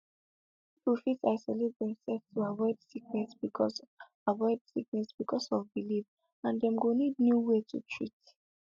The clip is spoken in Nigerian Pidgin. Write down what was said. people fit isolate themselves to avoid sickness because avoid sickness because of belief and dem go need new way to treat